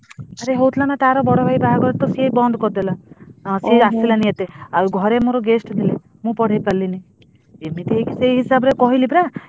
ଆରେ ହଉ ଥିଲା ଯେ ତାର ବଡ ଭାଇ ବାହାଘର ସେ ବନ୍ଦ କରିଦେଲା ସିଏ ଆସିଲାଣି ଏତେ ଆଉ ଘରେ ମୋର guest ଥିଲେ ମୁଁ ପଢେଇପାରିଲିନି। ଏମିତି ହେଇ ସେଇ ହିସାବରେ।